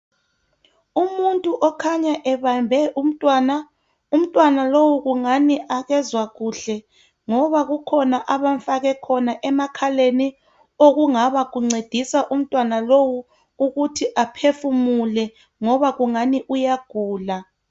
Umuntu okhanya ebambe umntwana. Umntwana lo kungani akezwa kuhle, ngoba kukhona abamfake khona emakhaleni okungaba kuncedisa umntwana lo ukuba aphefumule, ngoba kungani yagula.